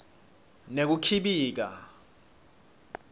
nekukhibika